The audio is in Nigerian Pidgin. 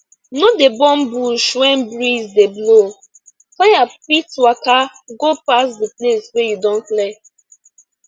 no dey burn bush when breeze dey blow fire fit waka go pass the place wey you don clear